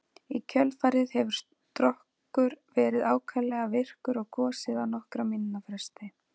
Í kjölfarið hefur Strokkur verið ákaflega virkur og gosið á nokkurra mínútna fresti.